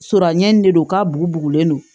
Suranɲi nin de don ka bugulen don